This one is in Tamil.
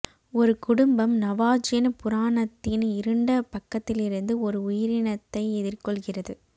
ஒரு குடும்பம் நவாஜின் புராணத்தின் இருண்ட பக்கத்திலிருந்து ஒரு உயிரினத்தை எதிர்கொள்கிறது